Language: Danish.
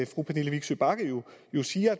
fru pernille vigsø bagge jo siger